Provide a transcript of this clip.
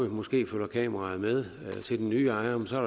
måske følger kameraet med til den nye ejer men så er